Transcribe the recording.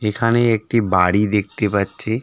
এখানে একটি বাড়ি দেখতে পাচ্ছি .